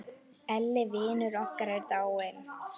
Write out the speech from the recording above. Elli vinur okkar er dáinn.